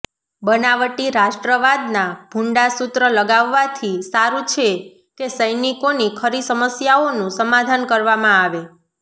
બનાવટી રાષ્ટ્રવાદના ભુંડા સૂત્ર લગાવવાથી સારું છે કે સૈનિકોની ખરી સમસ્યાઓનું સમાધાન કરવામાં આવે